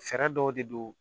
Fɛɛrɛ dɔw de don